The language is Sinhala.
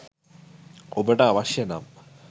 ඔබට අවශ්‍ය නම්